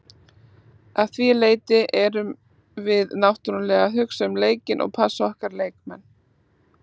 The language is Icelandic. Að því leyti erum við náttúrulega að hugsa um leikinn og passa okkar leikmenn.